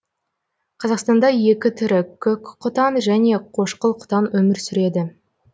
қазақстанда екі түрі көк құтан және қошқыл құтан өмір сүреді